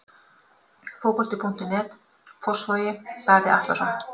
Fótbolti.net, Fossvogi- Davíð Atlason.